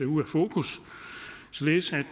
ude af fokus således at